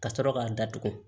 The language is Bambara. Ka sɔrɔ k'a datugu